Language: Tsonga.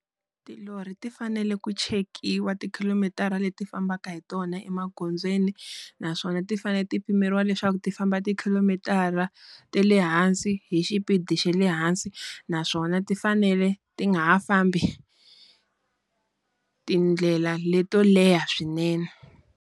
Tilori ti fanele ku chekiwa ti khilomitara leti fambaka hi tona emagondzweni naswona ti fanele ti pimeriwa leswaku ti famba ti khilomitara ta le hansi hi xipidi xa le hansi naswona ti fanele ti nga ha fambi, tindlela leto leha swinene.